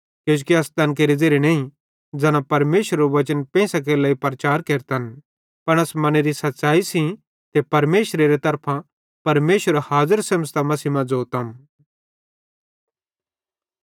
किजोकि अस तैन केरे ज़ेरे नईं ज़ैना परमेशरेरू वचन पेइंसां केरे लेइ प्रचार केरतन पन अस मनेरी सच़ैई सेइं ते परमेशरेरे तरफां परमेशर हाज़र सेमझ़तां मसीह मां ज़ोतम